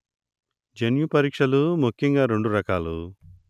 జన్యు పరీక్షలు ముఖ్యంగా రెండు రకాలు